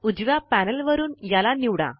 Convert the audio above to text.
उजव्या पैनल वरून याला निवडा